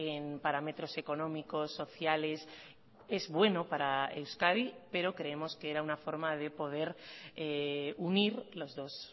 en parámetros económicos sociales es bueno para euskadi pero creemos que era una forma de poder unir los dos